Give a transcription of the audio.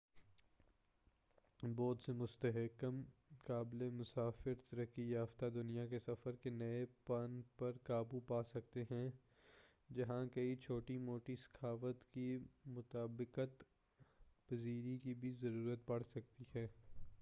بہت سے مستحکم قابل مسافر ترقی یافتہ دنیا کے سفر کے نئے پن پر قابو پا چکے ہیں جہاں کئی چھوٹی موٹی ثقافت کی مطابقت پذیری کی بھی ضرورت پڑسکتی ہے